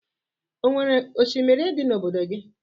O nwere oshimiri dị n'obodo gị?